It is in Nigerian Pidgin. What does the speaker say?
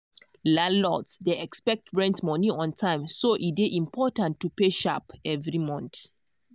landlords dey expect rent money on time so e dey important to pay sharp every month.